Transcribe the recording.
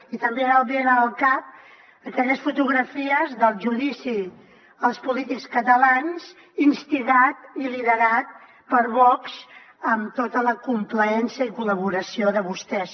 i també em venen al cap aquelles fotografies del judici als polítics catalans instigat i liderat per vox amb tota la complaença i col·laboració de vostès